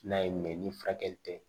N'a ye mɛn ni furakɛli tɛ